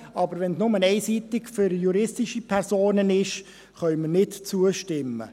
Wenn es aber nur einseitig für juristische Personen ist, können wir nicht zustimmen.